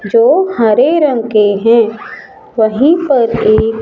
जो हरे रंग के है वहीं पर एक--